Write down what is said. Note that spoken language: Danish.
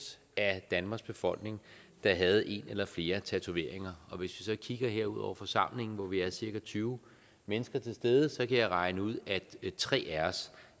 af danmarks befolkning der havde en eller flere tatoveringer hvis vi kigger ud over forsamlingen her hvor vi er cirka tyve mennesker til stede så kan jeg regne ud at tre af os